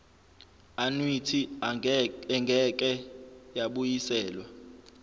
annuity engeke yabuyiselwa